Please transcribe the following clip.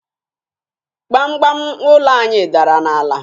Gbamgbam ụlọ anyị dara n'ala